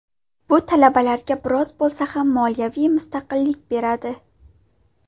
Bu talabalarga biroz bo‘lsa ham moliyaviy mustaqillik beradi.